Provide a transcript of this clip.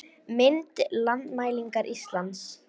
Mynd: Landmælingar Íslands